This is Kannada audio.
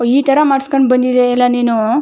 ಈ ತರ ಮಾಡಿಸಿಕೊಂಡು ಬಂದಿದ್ದೀಯಲ್ಲ ನೀನು --